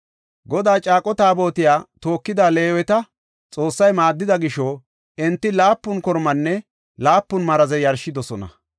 Godaa caaqo Taabotiya tookida Leeweta Xoossay maaddida gisho enti laapun kormanne laapun maraze yarshidosona.